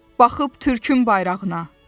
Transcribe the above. Baxıb Türkün bayrağına.